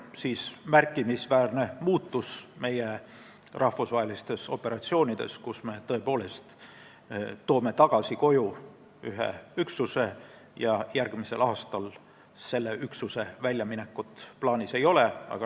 See on märkimisväärne muutus meie rahvusvahelistes operatsioonides, sest me tõepoolest toome ühe üksuse koju tagasi ja järgmisel aastal selle üksuse väljaminekut plaanis ei ole.